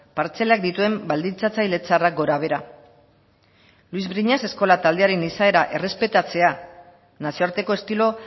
partzelak dituen baldintzatzaile txarrak gorabehera luis briñas eskola taldearen izaera errespetatzea nazioarteko estilo